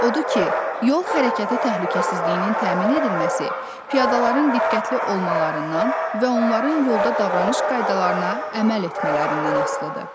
Odur ki, yol hərəkəti təhlükəsizliyinin təmin edilməsi piyadaların diqqətli olmalarından və onların yolda davranış qaydalarına əməl etmələrindən asılıdır.